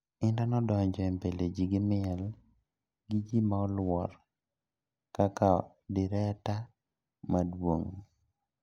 Indah nodonjo e mbele ji gi miel gi ji ma olwor kaka direta maduong.